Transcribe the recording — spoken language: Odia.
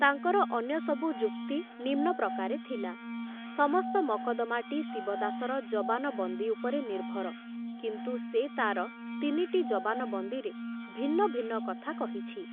ତାଙ୍କର ଅନ୍ୟ ସବୁ ଯୁକ୍ତି ନିମ୍ନପ୍ରକାରେ ଥିଲା, ସମସ୍ତ ମକଦ୍ଦମାଟି ଶିବଦାସର ଜବାନବନ୍ଦୀ ଉପରେ ନିର୍ଭର, କିନ୍ତୁ ସେ ତାର ତିନିଟି ଜବାନବନ୍ଦୀରେ ଭିନ୍ନ ଭିନ୍ନ କଥା କହିଛି।